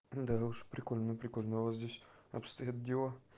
андрюша прикольно прикольно вот здесь обстоят дела